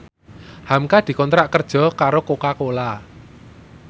hamka dikontrak kerja karo Coca Cola